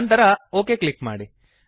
ನಂತರ OK click ಮಾಡಿ